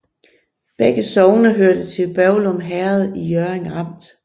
Begge sogne hørte til Børglum Herred i Hjørring Amt